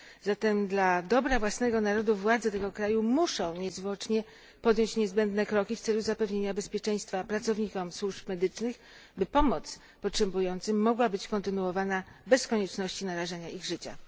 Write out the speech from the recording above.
Zatem dla dobra własnego narodu władze tego kraju muszą niezwłocznie podjąć niezbędne kroki w celu zapewnienia bezpieczeństwa pracownikom służb medycznych, by pomoc potrzebującym mogła być kontynuowana bez konieczności narażania ich życia.